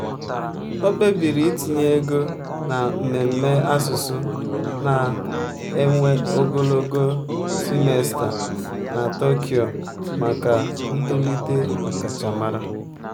o kpebiri itinye ego na mmemme asụsụ na-ewe ogologo simesta na tokyo maka ntolite ọkachamara.